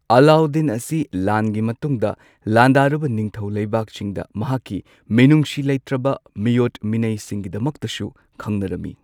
ꯑꯂꯥꯎꯗꯤꯟ ꯑꯁꯤ ꯂꯥꯟꯒꯤ ꯃꯇꯨꯡꯗ ꯂꯥꯟꯗꯥꯔꯨꯕ ꯅꯤꯡꯊꯧ ꯂꯩꯕꯥꯛꯁꯤꯡꯗ ꯃꯍꯥꯛꯀꯤ ꯃꯤꯅꯨꯡꯁꯤ ꯂꯩꯇ꯭ꯔꯕ ꯃꯤꯑꯣꯠ ꯃꯤꯅꯩꯁꯤꯡꯒꯤꯗꯃꯛꯇꯁꯨ ꯈꯪꯅꯔꯝꯃꯤ꯫